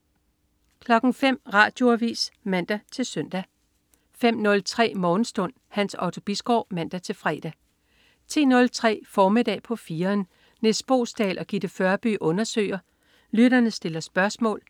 05.00 Radioavis (man-søn) 05.03 Morgenstund. Hans Otto Bisgaard (man-fre) 10.03 Formiddag på 4'eren. Nis Boesdal og Gitte Førby undersøger, lytterne stiller spørgsmål